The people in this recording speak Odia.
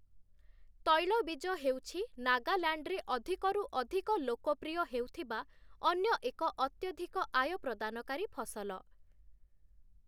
ତୈଳବୀଜ ହେଉଛି ନାଗାଲାଣ୍ଡରେ ଅଧିକରୁ ଅଧିକ ଲୋକପ୍ରିୟ ହେଉଥିବା ଅନ୍ୟ ଏକ ଅତ୍ୟଧିକ ଆୟ ପ୍ରଦାନକାରୀ ଫସଲ ।